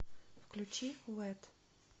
включи вэт